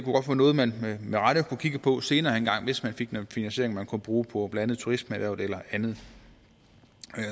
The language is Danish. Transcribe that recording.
er noget man med rette kunne kigge på senere hen hvis man fik noget finansiering man kunne bruge på blandt andet turismeerhvervet eller andet